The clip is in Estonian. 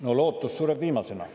No lootus sureb viimasena.